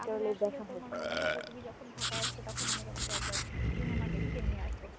তাহলে আসলে তোমার মনে হয় তুমি যখন ঢাকায় আসবে তখন আমি তোমাকে একবার cinema দেখিয়ে নিয়ে আসবো